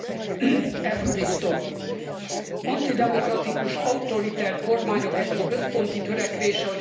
Antidemokratikus, autoriter kormányok egyik központi törekvése, hogy korlátozzák a média szabadságát.